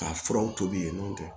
Ka furaw tobi yen nɔn